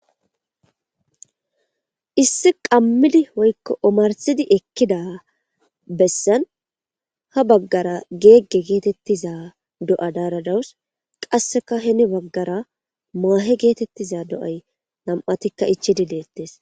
issi qammidi hoykko omarsidi ekkida bessan ha baggara geegge geetettiza do7a daaradawus qasseka heni baggara maahe geetettiza do7ay nam7atikka ichi di leettes